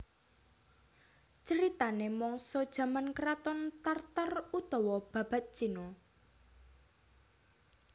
Critanè mangsa jaman kraton Tar Tar utawa Babad Cina